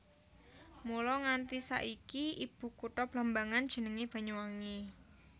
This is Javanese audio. Mula nganti saiki ibukutha Blambangan jenenge Banyuwangi